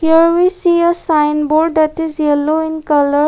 there we see a sign board that is yellow in colour.